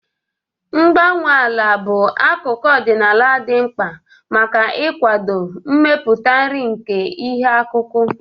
Mgbanwe ala bụ atụmatụ ọdịnala dị mkpa maka ịkwado mmeputa nri nke ihe akụkụ.